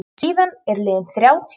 Síðan eru liðin þrjátíu ár.